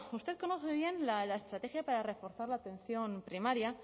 usted conoce bien la estrategia para reforzar la atención primaria